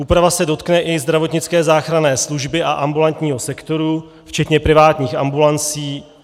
Úprava se dotkne i zdravotnické záchranné služby a ambulantního sektoru včetně privátních ambulancí.